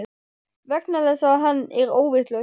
Vegna þess að hann er óvitlaus.